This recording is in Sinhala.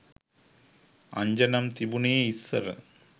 අංජනම් තිබුනේ ඉස්සර